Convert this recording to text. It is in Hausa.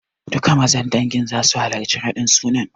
Duka Mazan dangin zasu halarci raɗin sunan.